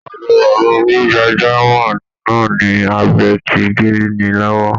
Ọ̀dọ̀ bàbá onígbàjámọ̀ náà ni abẹ ti gé ni lọ́wọ́